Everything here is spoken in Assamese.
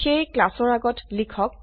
সেয়ে ক্লাসৰ আগত লিখক